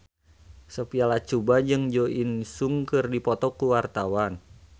Sophia Latjuba jeung Jo In Sung keur dipoto ku wartawan